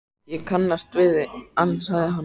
Ég kannast við þig, ansaði hann.